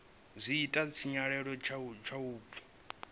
zwi ita tshinyalelo kha vhupo